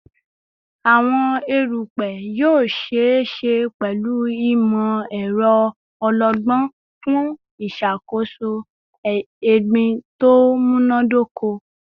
Awọn erupẹ erupẹ yoo ṣee ṣe pẹlu imọ-ẹrọ ọlọgbọn fun iṣakoso egbin to munadoko